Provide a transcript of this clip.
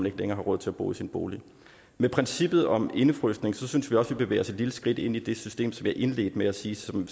ikke længere har råd til at bo i sin bolig med princippet om indefrysning synes vi også vi bevæger os et lille skridt ind i det system som jeg indledte med at sige sådan